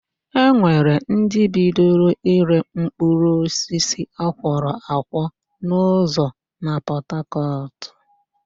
E nwere ndị bidoro ịre mkpụrụosisi akwọrọ akwọ n'ụzọ na Pọtakọtụ